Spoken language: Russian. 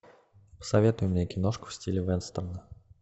посоветуй мне киношку в стиле вестерна